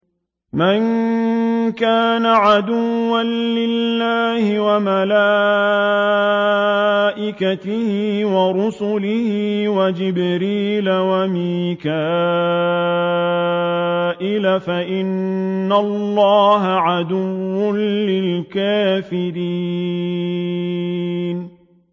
مَن كَانَ عَدُوًّا لِّلَّهِ وَمَلَائِكَتِهِ وَرُسُلِهِ وَجِبْرِيلَ وَمِيكَالَ فَإِنَّ اللَّهَ عَدُوٌّ لِّلْكَافِرِينَ